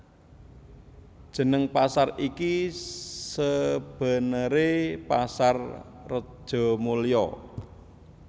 Jeneng pasar iki sebenere Pasar Rejomulyo